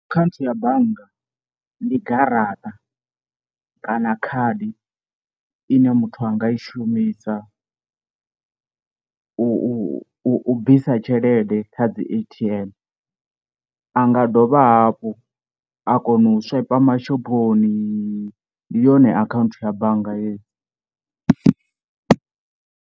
Akhaunthu ya bannga ndi garaṱa kana khadi ine muthu anga i shumisa u u u bvisa tshelede ḓe kha dzi A_T_M, a nga dovha hafhu a kona u swaipa mashophoni ndi yone akhaunthu ya bannga heyi.